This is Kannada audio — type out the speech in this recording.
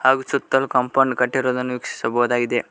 ಹಾಗು ಸುತ್ತಲೂ ಕಾಂಪೌಂಡ್ ಕಟ್ಟಿರುವುದನ್ನು ವೀಕ್ಷಿಸಬಹುದಾಗಿದೆ.